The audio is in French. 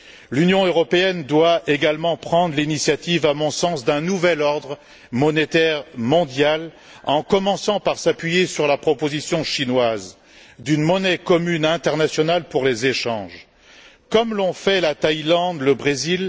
L'Union européenne doit également prendre l'initiative, à mon sens, d'un nouvel ordre monétaire mondial en commençant par s'appuyer sur la proposition chinoise d'une monnaie commune internationale pour les échanges, comme l'ont fait la Thaïlande et le Brésil.